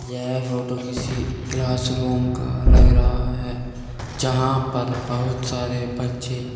यह फोटो किसी class room का लग रहा है जहां पर बहुत सारे बच्चे--